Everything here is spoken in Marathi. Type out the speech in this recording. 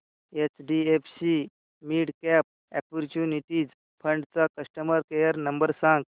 एचडीएफसी मिडकॅप ऑपर्च्युनिटीज फंड चा कस्टमर केअर नंबर सांग